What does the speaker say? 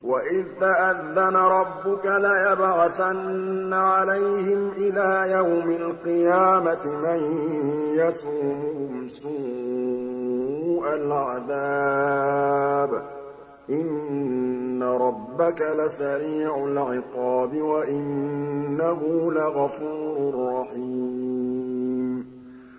وَإِذْ تَأَذَّنَ رَبُّكَ لَيَبْعَثَنَّ عَلَيْهِمْ إِلَىٰ يَوْمِ الْقِيَامَةِ مَن يَسُومُهُمْ سُوءَ الْعَذَابِ ۗ إِنَّ رَبَّكَ لَسَرِيعُ الْعِقَابِ ۖ وَإِنَّهُ لَغَفُورٌ رَّحِيمٌ